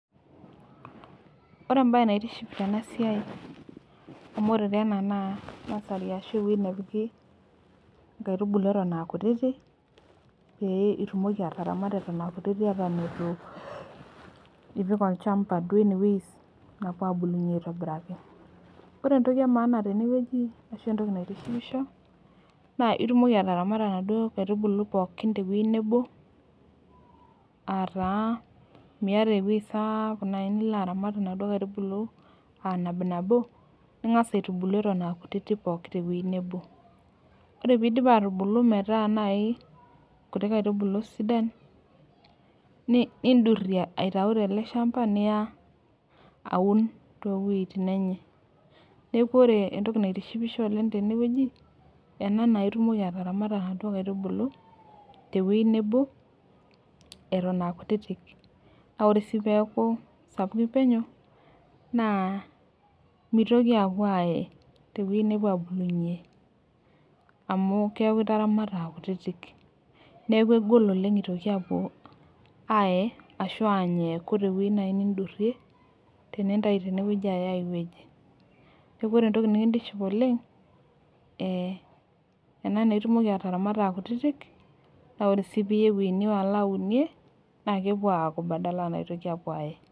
Ore ebae naitiship tena siai, amu ore taa ena naa nursery ashu ewueji nepiki nkaitubulu eton aa kutitik ,pee itumoki ataramata eton aa kutiti eton eitu, ipik olchampa duo ene wueji nepuo aabulunye aitobiraki. ore entoki emaana tene wueji ashu entoki naitishipisho, naa itumoki ataramata inaduoo kaitubulu pookin te wueji nebo, aa taa Miata ewueji sapuk duo nilo aaramat inkaitubulu.aa nabinabo. ning'as aitubulu pookin te wueji nebo. ore pee eidip aatubulu, metaa naaji nkuti kaitubulu sidan. nidurie, aitayu tele shampa niya, aun too wuejitin enye. neeku ore entoki naitishipisho oleng tene wueji, ena naa itumoki ataramata inaduoo kaitubulu te wueji nebo eton aa kutitik. naa ore sii peeku sapukin penyo, naa mitoki aapuo aye tewueji nepuo aabulunye,. amu keeku itaramata aa kutitik. neeku egol oleng itoki aapuo aye, aashu eent eeku te wueji naaji nidurie, tenintayu tene apik aiwueji. neeku ore entoki nikintiship oleng, ee ena naa itumoki ataramata as kutitik naaa ore sii piya ewueji nilo aunie naakitoki aapuo abulu, nepuo Aaye.